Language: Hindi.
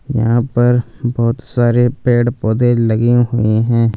यहां पर बहोत सारे पेड़ पौधे लगे हुएं हैं।